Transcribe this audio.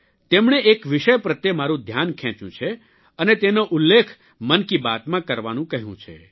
તેમણે એક વિષય પ્રત્યે મારૂં ધ્યાન ખેંચ્યું છે અને તેનો ઉલ્લેખ મનકી બાતમાં કરવાનું કહ્યું છે